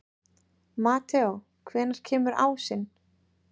Mateó, hvenær kemur ásinn?